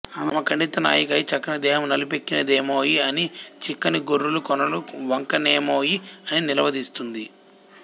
ఆమె ఖండిత నాయిక అయి చక్కని దేహము నలిపెక్కినదేమోయి అనీ చిక్కని గోరులు కొనలు వంగెనేమొయి అనీ నిలవదీస్తుంది